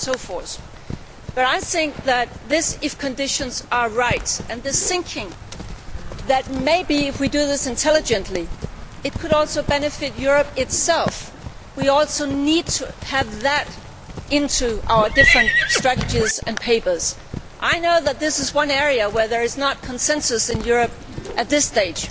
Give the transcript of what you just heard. so on and so forth, but I think if conditions are right, and maybe if we do this intelligently, it could also benefit Europe itself. We also need to have that in our different strategies and papers. I know that this is one area where there is not consensus in Europe at this stage.